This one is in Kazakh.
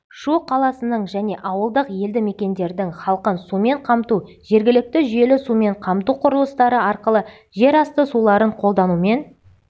шу қаласының және ауылдық елдімекендердің халқын сумен қамту жергілікті жүйелі сумен қамту құрылыстары арқылы жер асты суларын қолданумен